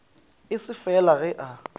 e se fela ge a